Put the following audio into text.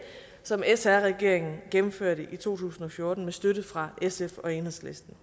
som sr regeringen gennemførte i to tusind og fjorten med støtte fra sf og enhedslisten